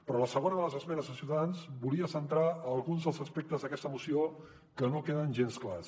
però la segona de les esmenes de ciutadans volia centrar alguns dels aspectes d’aquesta moció que no queden gens clars